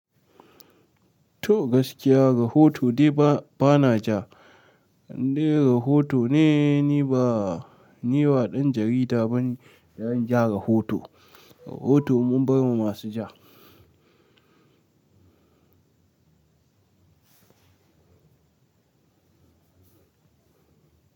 To gaskiya rahoto dai bana ja in dai rahoto ne ni ba dan jarida bane da zan ja rahoto rahoto mun bar ma masu ja.